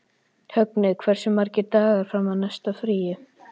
Högni, hversu margir dagar fram að næsta fríi?